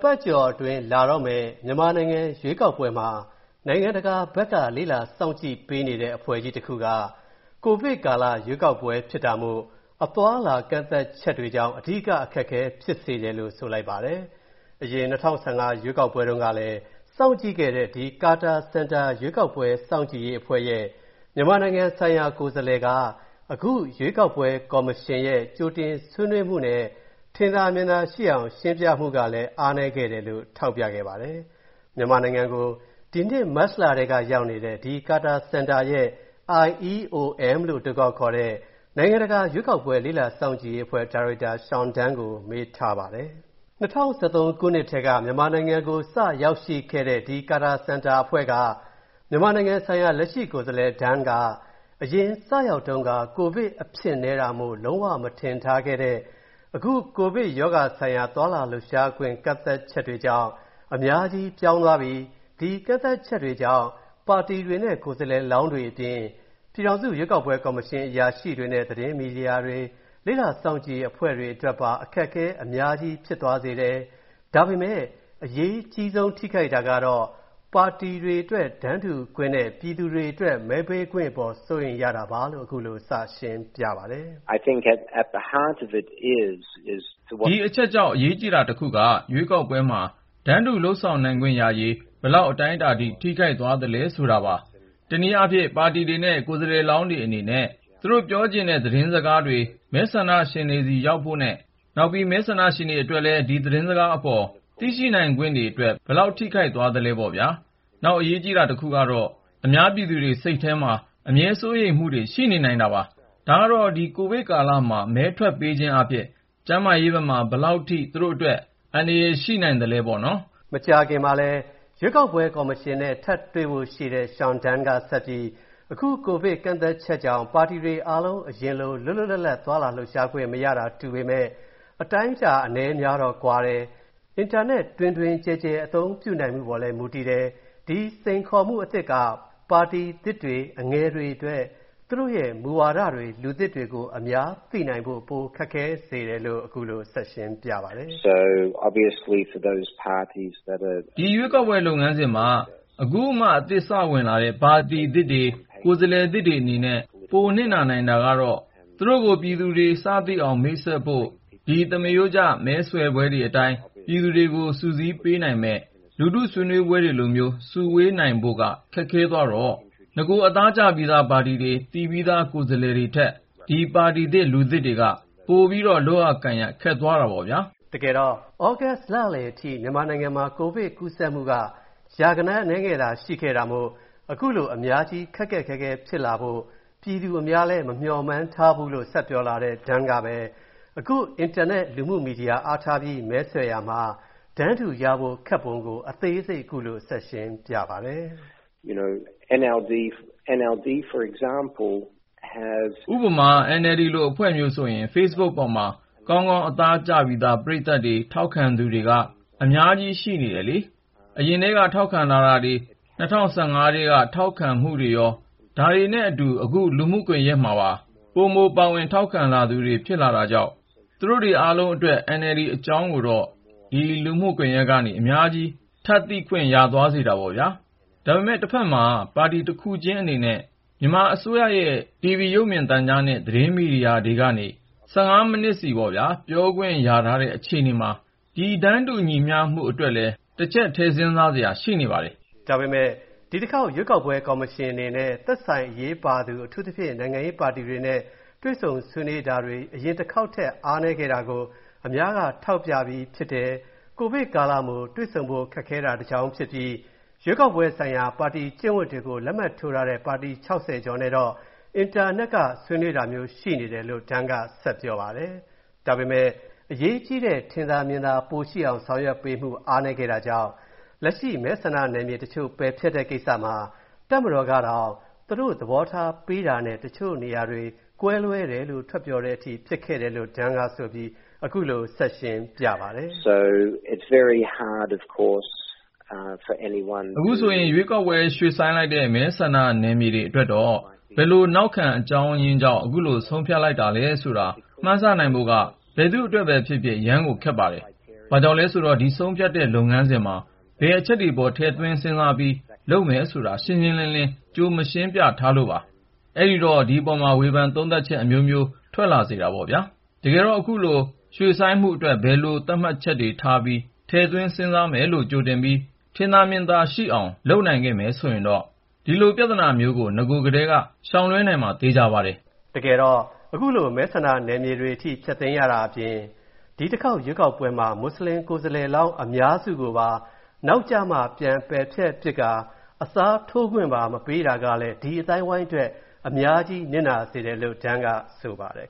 ပတ်ကျော်အတွင်း လာတော့မယ့် မြန်မာနိုင်ငံရွေးကောက်ပွဲမှာ နိုင်ငံတကာဘက်က လေ့လာစောင့်ကြည့်ပေးနေတဲ့ အဖွဲ့ကြီးတစ်ခုက ကိုဗစ်ကာလရွေးကောက်ပွဲဖြစ်တာမို့ အသွားအလာကန့်သတ်ချက်တွေကြောင့် အဓိကအခက်အခဲဖြစ်စေတယ်လို့ ဆိုပါတယ်။ အရင် ၂၀၁၅ ရွေးကောက်ပွဲတုံးကလည်း စောင့်ကြည့်ခဲ့တဲ့ ဒီ Carter Center ရွေးကောက်ပွဲစောင့်ကြည့်ရေးအဖွဲ့ရဲ့ မြန်မာနိုင်ငံဆိုင်ရာကိုယ်စားလှယ်က အခုရွေးကောက်ပွဲကော်မရှင်ရဲ့ ကြိုတင်ဆွေးနွေးမူနဲ့ ထင်သာမြင်သာရှိအောင်ရှင်းပြမူကလည်း အားနည်းခဲ့တယ်လို့ ထောက်ပြလိုက်ပါတယ်။ မြန်မာနိုင်ငံကို ဒီနှစ်မတ်လထဲကရောက်နေတဲ့ ဒီ Carter Center ရဲ့ IEOM လို့ အတိုခေါက်ခေါ်တဲ့ နိုင်ငံတကာရွေးကောက်ပွဲလေ့လာစောင့်ကြည့်ရေးအဖွဲ့ ဒါရိုက်တာ Sean Dunne ကို မေးထားပါတယ်။ ၂၀၁၃ ခုနှစ်ထဲက မြန်မာနိုင်ငံကို စရောက်ရှိခဲ့တဲ့ ဒီ Carter Center အဖွဲ့က မြန်မာနိုင်ငံဆိုင်ရာ လက်ရှိကိုယ်စားလှယ် Dunne က အရင် စရောက်တုံးက ကိုဗစ်အဖြစ်နည်းတာမို့ လုံးဝမထင်ထားခဲ့တဲ့ အခု ကိုဗစ်ရောဂါဆိုင်ရာသွားလာလှုပ်ရှားခွင့်ကန့်သတ်ချက်တွေကြောင့်၊ အများကြီးပြောင်းသွားပြီ၊ ဒီကန့်သတ်ချက်တွေကြောင့် ပါတီတွေနဲ့ ကိုယ်စားလှယ်လောင်းတွေအပြင်၊ ပြည်ထောင်စုရွေးကောက်ပွဲကော်မရှင်အရာရှိတွေနဲ့ သတင်းမီဒီယာတွေ၊ လေ့လာစောင့်ကြည့်အရေးအဖွဲ့တွေအတွက်ပါ အခက်အခဲတွေအများကြီးဖြစ်စေတယ်၊ ဒါပေမဲ့ အရေးကြီးဆုံးထိခိုက်တာကတော့ ပါတီတွေအတွက် တန်းတူခွင့်နဲ့ ပြည်သူတွေအတွက် မဲပေးခွင့်အပေါ် စိုးရိမ်ရတာပါပဲလို့ ခုလိုစရှင်းပြပါတယ်။ “ဒီအချက်ကြောင့် အရေးကြီးတာတစ်ခုက ရွေးကောက်ပွဲမှာ တန်းတူလုပ်ဆောင်နိုင်ခွင့်ရရေး၊ ဘယ်လောက်အတိုင်းအတာထိ ထိခိုက်သွားလဲဆိုတာပါ။ တစ်နည်းအားဖြင့် ပါတီတွေနဲ့ ကိုယ်စားလှယ်လောင်တွေအနေနဲ့၊ သူတို့ပြောချင်တာတဲ့သတင်းစကားတွေ မဲဆန္ဒရှင်တွေဆီရောက်ဖို့နဲ့၊ နောက် မဲဆန္ဒရှင်တွေအတွက်လည်း ဒီသတင်းစကားအပေါ် သိရှိနိုင်ခွင့်တွေအတွက်၊ ဘယ်လောက်ထိခိုက်သွားလဲပေါ့ဗျာ။ နောက်အရေးကြီးတာတစ်ခုကတော့ အများပြည်သူတွေစိတ်ထဲမှာ အမြဲစိုးရိမ်မူတွေရှိနေနိုင်တာပါ။ ဒါကတော့ ဒီကိုဗစ်ကာလမှာ မဲထွက်ပေးခြင်းအားဖြင့် ကျန်းမာရေးဘက်မှာ ဘယ်လောက်ထိ သူတို့အတွက် အန္တရာယ်ရှိနိုင်သလဲပေါ့နော်။” မကြာခင်မှာ ရွေးကောက်ပွဲကော်မရှင်နဲ့ ထပ်တွေ့ဖို့ရှိတဲ့ Sean Dunne က ဆက်ပြီး၊ အခု ကိုဗစ်ကန့်သတ်ချက်ကြောင့် ပါတီတွေအားလုံး အရင်လို လွတ်လွတ်လပ်လပ် သွားလာလှုပ်ရှားခွင့်မရတာတူပေမဲ့ အတိုင်းအတာအနည်းအများကတော့ ကွာတယ်၊ အင်တာနက် တွင်တွင်ကျယ်ကျယ် အသုံးပြုနိုင်မူပေါ်လည်းမူတည်တယ်၊ ဒီစိန်ခေါ်မူအသစ်က ပါတီသစ်တွေ၊ အငယ်တွေအတွက် သူတို့ရဲ့ မူဝါဒတွေ၊ လူသစ်တွေကို အများသိနိုင်ဖို့ ပိုခက်ခဲစေတယ်လို့ ခုလိုဆက်ရှင်းပြပါတယ်။ “ဒီရွေးကောက်ပွဲလုပ်ငန်းစဉ်မှာ အခုမှ အသစ်စဝင်လာတဲ့ ပါတီသစ်တွေ၊ ကိုယ်စားလှယ်သစ်တွေအနေနဲ့ ပိုနစ်နာနိုင်တာကတော့၊ သူတို့ကို ပြည်သူတွေ စသိအောင်မိတ်ဆက်ဖို့၊ ဒီ သမရိုးကျ မဲဆွယ်ပွဲတွေအတိုင်း၊ ပြည်သူတွေကိုစုစည်းပေးနိုင်မဲ့ လူထုဆွေးနွေးပွဲတွေလိုမျိုး စုဝေးနိုင်ဖို့က ခက်ခဲသွားတော့၊ နဂိုအသားကျပြီးသားပါတီတွေ၊ သိပြီးသား ကိုယ်စားလှယ်တွေထက်၊ ဒီပါတီသစ်၊ လူသစ်တွေက၊ ပို လုပ်ရကိုင်ရခက်သွားတာပေါ့ဗျာ။” တကယ်တော့ သြဂုတ်လလည်ထိ မြန်မာနိုင်ငံမှာ ကိုဗစ်ကူးစက်မူက ရာဂဏန်းအနည်းငယ်သာရှိခဲ့တာမို့၊ ခုလို အများကြီး ခက်ခက်ခဲခဲဖြစ်လာဖို့ ပြည်သူအများလဲမမျှော်မှန်းထားဖူးလို့ ဆက်ပြောလာတဲ့ Dunne ကပဲ အခု အင်တာနက်လူမူမီဒီယာအားထားပြီး မဲဆွယ်ရမှာ တန်းတူရဖို့ခက်ပုံကို အသေးစိတ်ခုလိုဆက်ရှင်းပြပါတယ်။ “ဥပမာ NLD လိုအဖွဲ့မျိုးဆိုရင် Facebook ပေါ်မှာ ကောင်ကောင်း အသားကျပြီးသား ပရိသတ်တွေ၊ ထောက်ခံသူတွေက အများကြီးရှိနေတယ်လေ။ အရင်ထဲက ထောက်ခံလာမူတွေ ၂၀၁၅ ထဲကထောက်ခံလာမူတွေရော ဒါတွေနဲ့အတူ အခု လူမူကွန်ယက်မှာ ပိုပိုပါဝင်ထောက်ခံလာသူတွေ ဖြစ်လာတာကြောင့်၊ သူတို့တွေအားလုံးအတွက်၊ NLD အကြောင်းတွေကိုတော့ ဒီ လူမူကွန်ယက်ကနေ အများကြီး ပိုထပ်သိခွင့်ရစေတာပေါ့နော်။ ဒါပေမယ့် တဖက်မှာတော့၊ ပါတီတစ်ခုချင်းအနေနဲ့ မြန်မာအစိုးရရဲ့ TV ရုပ်မြင်သံကြားနဲ့ သတင်းမီဒီယာတွေကနေ၊ ၁၅ မီးနစ်စီပေါ့ဗျာ၊ ပြောခွင့်တော့ ရထားတဲ့အခြေအနေမှာ၊ ဒီ တန်းတူမူညီမျှရှိမူအတွက်လည်း၊ တစ်ချက်ထည့်စဉ်းစားစရာ ရှိနေပါတယ်။” ဒါပေမဲ့ ဒီတစ်ခေါက် ရွေးကောက်ပွဲကော်မရှင်အနေနဲ့၊ သက်ဆိုင်အရေးပါသူ အထူးသဖြင့် နိုင်ငံရေးပါတီတွေနဲ့ တွေ့ဆုံဆွေးနွေးတာတွေ အရင်တစ်ခေါက်ထက် အားနည်းခဲ့တာကို အများက ထောက်ပြပြီးဖြစ်တယ်၊ ကိုဗစ်ကာလမို့ တွေ့ဆုံဖို့ခက်တာတကြောင်းဖြစ်ပြီး၊ ရွေးကောက်ပွဲဆိုင်ရာ ပါတီကျင့်ဝင်တွေကို လက်မှတ်ထိုးထားတဲ့ ပါတီ ၆၀ ကျော်နဲ့တော့၊ အင်တာနက်ကနေ ဆွေးနွေးတာမျိုးရှိနေတယ်လို့ Dunne က ဆက်ပြောပါတယ်။ ဒါပေမယ့် အရေးကြီးတဲ့ ထင်သာမြင်သာပိုရှိအောင်ဆောင်ရွက်ပေးမူ အားနည်းခဲ့တာကြောင့်၊ လက်ရှိ မဲဆန္ဒနယ်မြေတချို.ပယ်ဖျက်တဲ့ကိစ္စမှာ တပ်မတော်ကတောင် သူတို့သဘောထားပေးတာနဲ့ တချို့နေရာတွေ ကွဲလွဲတယ်လို့ ထွက်ပြောတဲ့အထိ ဖြစ်ခဲ့တယ်လို့ Dunne ကဆိုပြီး၊ အခုလို ဆက်ရှင်းပြပါတယ်။ “အခု မဲဆန္ဒနယ်မြေ ရွေ.ဆိုင်းမူတွေအတွက်တော့၊ ဘယ်လိုနောက်ခံအကြောင်းရင်းကြောင့် ခုလို ဆုံးဖြတ်လိုက်တာလဲဆိုတာ၊ မှန်းဆနိုင်ဖို့က၊ ဘယ်သူ့အတွက်ပဲဖြစ်ဖြစ်၊ အရမ်းကို ခက်ပါတယ်။ ဘာကြောင့်လဲဆိုတော့ ဒီဆုံးဖြတ်တဲ့ လုပ်ငန်းစဉ်မှာ ဘယ်အချက်တွေအပေါ် ထည့်သွင်းစဉ်းစားပြီး လုပ်မယ်ဆိုတာ ရှင်းရှင်းလင်းလင်း ကြိုမရှင်းပြထားလို့ပါ။ အဲ့ဒီတော့ ဒီအပေါ်မှာ ဝေဖန်သုံးသပ်မူ အမျိုးမျိုးထွက်လာစေတာပေါ့ဗျာ။ တကယ်တော့ ခုလို ရွှေ့ဆိုင်းမူတွေအတွက်၊ ဘယ်လို သတ်မှတ်ချက်တွေထားကာ ထည့်သွင်းစဉ်းစားမယ်လို့ ကြိုတင်ပြီး၊ ထင်သာမြင်သာရှိအောင် လုပ်နိုင်ခဲ့မယ်ဆိုရင်တော့၊ ဒီလိုပြဿနာမျိုးကို နဂိုထဲက ရှောင်လွှဲနိုင်မှာ သေချာပါတယ်။” တကယ်တော့၊ ခုလို မဲဆန္ဒနယ်မြေအထိဖျက်သိမ်းရတာအပြင်၊ ဒီတစ်ခေါက်ရွေးကောက်ပွဲမှာ မွတ်ဆလင်ကိုယ်စားလှယ်လောင်းအများစုကိုပါ၊ နောက်ကျမှ ပြန်ပယ်ဖျက်ပစ်ကာ၊ အစားထိုးခွင့်မပေးတာကလည်း၊ ဒီ အသိုင်းအဝိုင်းအတွက် အများကြီးထိခိုက်နစ်နာစေတယ် လို့ Dunne က ဆိုပါတယ်